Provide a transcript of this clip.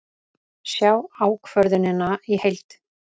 Sjá ákvörðunina í heild